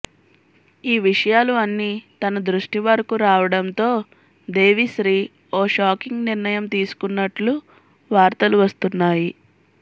ఈ విషయాలు అన్ని తన దృష్టి వరకు రావడంతో దేవిశ్రీ ఓ షాకింగ్ నిర్ణయం తీసుకున్నట్లు వార్తలు వస్తున్నాయి